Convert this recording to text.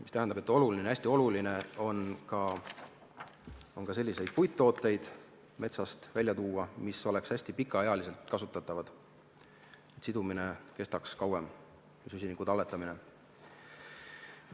See tähendab, et hästi oluline on metsast välja tuua ka selliseid puidutooteid, mis oleks hästi pikaealiselt kasutatavad, et sidumine ja süsiniku talletamine kestaks kauem.